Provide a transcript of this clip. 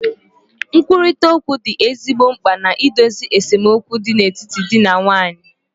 Nkwurịta okwu dị ezigbo mkpa na idozi esemokwu dị n'etiti di na nwunye